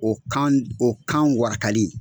O kan d o kan warakali